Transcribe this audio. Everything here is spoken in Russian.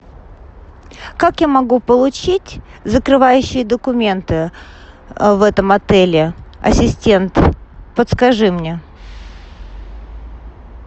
как я могу получить закрывающие документы в этом отеле ассистент подскажи мне